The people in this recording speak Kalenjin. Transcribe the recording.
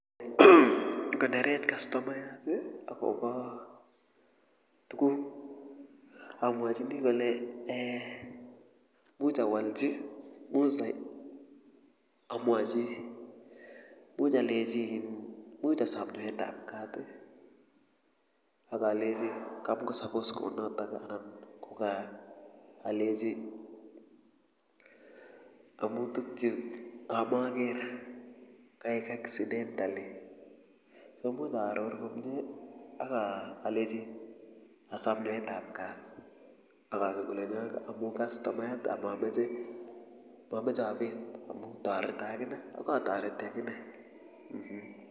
ngonerech kastomayat akobo tuguk amwachini kole eeh imuch awalchi much amwachi imuch alechi [iin] imuch asom nyoet ab kat akalechi kamko suppuse kou notok anan ko alechi amu tukchu amakeer kaek accidentaly imuch aaror komye ak alechi asom nyoetab kaat akonai kole amu kastomayat amameche mameche abeet amu toreto akane akatoreti akine mmh